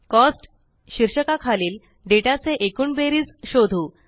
cost शीर्षका खालील data चे एकूण बेरीज शोधू